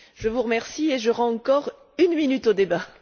Je vous remercie et je rends encore une minute au débat.